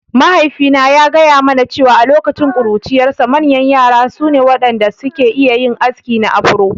Mahaifina ya gaya mana cewa a lokacin ƙuruciyarsa, manyan yara su ne waɗanda suke iya yin aski na Afro.